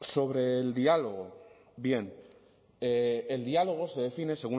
sobre el diálogo bien el diálogo se define